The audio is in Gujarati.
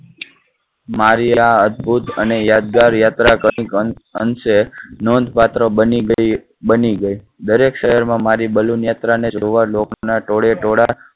મારિયા, અદ્ભુત અને યાદગાર યાત્રા કરી શકશે. નોંધપાત્ર બની બની ગઈ. દરેક શહેરમાં મારી balloon યાત્રા ને જોવા લોકો ના ટોળેટોળા